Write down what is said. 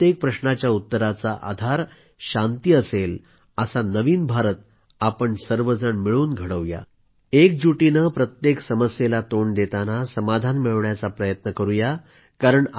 इथं प्रत्येक प्रश्नाच्या उत्तराचा आधार शांती असेल असा नवीन भारत आपण सर्वजण मिळून घडवू या एकजूट होवून प्रत्येक समस्येला तोंड देताना समाधान मिळवण्याचा प्रयत्नही करूया